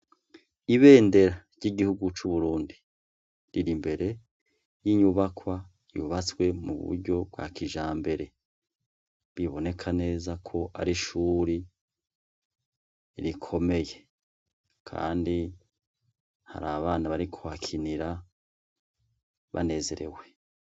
Ibendera ry'igihugu c'Uburundi, rir'imbere y'inyubakwa yubatswe mu buryo bwa kijambere. Biboneka neza ko ari ishure rikomeye. Kandi hari abana bariko barahakinira banezerwe.